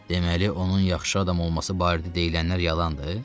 Deməli, onun yaxşı adam olması barədə deyilənlər yalandır?